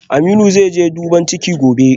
Aminu zaije duban ciki gobe